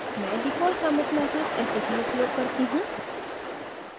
मैं default commit message ऐसे ही उपयोग करती हूँ